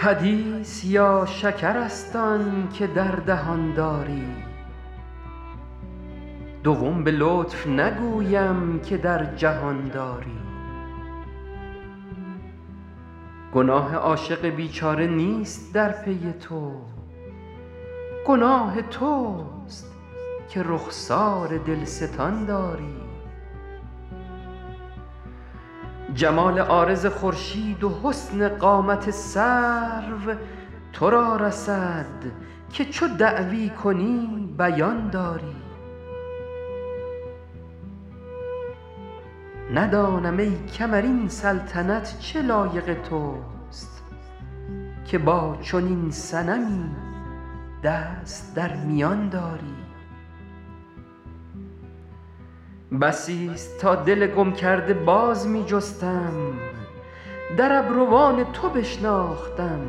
حدیث یا شکر است آن که در دهان داری دوم به لطف نگویم که در جهان داری گناه عاشق بیچاره نیست در پی تو گناه توست که رخسار دلستان داری جمال عارض خورشید و حسن قامت سرو تو را رسد که چو دعوی کنی بیان داری ندانم ای کمر این سلطنت چه لایق توست که با چنین صنمی دست در میان داری بسیست تا دل گم کرده باز می جستم در ابروان تو بشناختم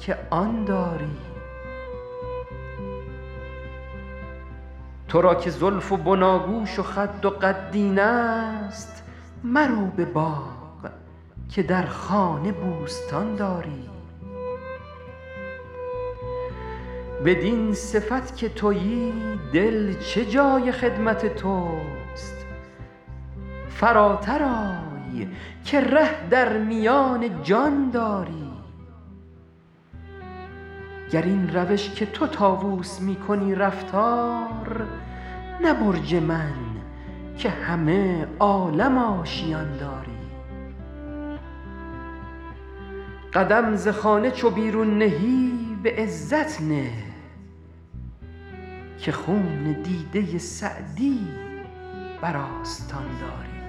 که آن داری تو را که زلف و بناگوش و خد و قد اینست مرو به باغ که در خانه بوستان داری بدین صفت که تویی دل چه جای خدمت توست فراتر آی که ره در میان جان داری گر این روش که تو طاووس می کنی رفتار نه برج من که همه عالم آشیان داری قدم ز خانه چو بیرون نهی به عزت نه که خون دیده سعدی بر آستان داری